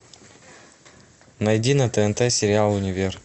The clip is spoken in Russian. найди на тнт сериал универ